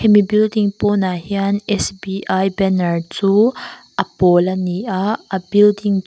hemi building pawnah hian sbi banner chu a pawl a ni a a building chhung--